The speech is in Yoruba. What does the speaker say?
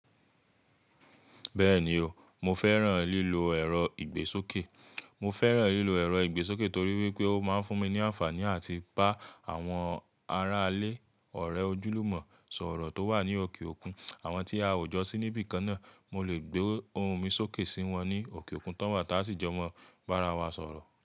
Bẹ́ẹ̀ni o, mo fẹ́ràn lílo ẹ̀rọ ìgbésókè. Mo fẹ́ràn lílo ẹ̀rọ ìgbésókè torí wípé ó máa ń fún mi ní àǹfààní àti bá àwọn ará ilé, ọ̀rẹ́ ojúlùmọ̀ sọ̀rọ̀ tó wà ní òkè òkun. Àwọn tí a ò jọ sí níbí kan náà, mo lè gbé ohùn mi sókè sí wọn ní òkè òkun tán wà táa sì jọ mọ́ bá ara wa sọ̀rọ̀